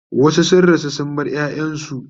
wasu sun rasu sun bar ƴaƴansu